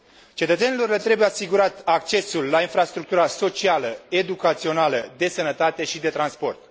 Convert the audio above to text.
Cetățenilor le trebuie asigurat accesul la infrastructura socială, educațională, de sănătate și de transport.